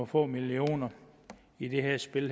få millioner i det her spil